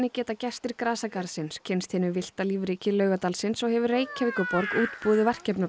geta gestir grasagarðsins kynnst hinu villta lífríki Laugardalsins og hefur Reykjavíkurborg útbúið